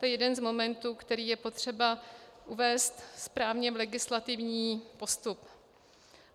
To je jeden z momentů, který je potřeba uvést správně v legislativní postup.